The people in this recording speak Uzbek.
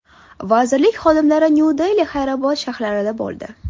Vazirlik xodimlari Nyu-Dehli, Haydarobod shaharlarida bo‘ldi.